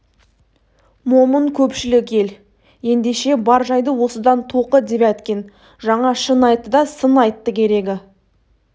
момын көпшілік ел ендеше бар жайды осыдан тоқы девяткин жаңа шын айтты да сын айтты керегі